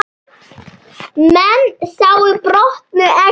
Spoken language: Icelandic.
Menn sáu brotnu eggin.